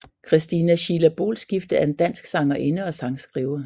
Christina Sheila Boelskifte er en dansk sangerinde og sangskriver